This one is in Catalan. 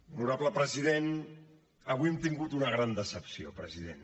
honorable president avui hem tingut una gran decepció president